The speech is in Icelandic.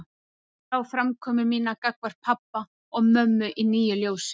Ég sá framkomu mína gagnvart pabba og mömmu í nýju ljósi.